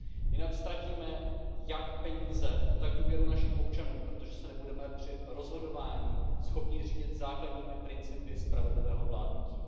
Jinak ztratíme jak peníze, tak důvěru našich občanů, protože se nebudeme schopni při rozhodování řídit základními principy spravedlivého vládnutí.